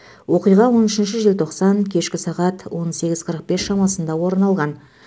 оқиға он үшінші желтоқсан кешкі сағат он сегіз қырық бес шамасында орын алған